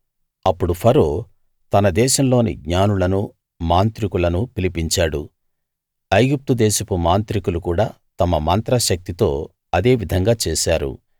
అప్పుడు ఫరో తన దేశంలోని జ్ఞానులను మాంత్రికులను పిలిపించాడు ఐగుప్తు దేశపు మాంత్రికులు కూడా తమ మంత్ర శక్తితో అదే విధంగా చేశారు